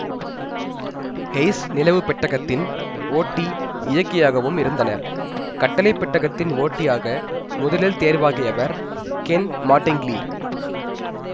ஹெய்ஸ் நிலவு பெட்டகத்தின் ஓட்டிஇயக்கியாகவும் இருந்தனர் கட்டளை பெட்டகத்தின் ஓட்டியாக முதலில் தேர்வாகியவர் கென் மாட்டிங்லி